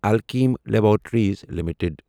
Alkem laboratories limited